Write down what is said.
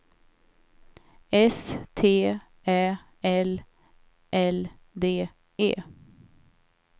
S T Ä L L D E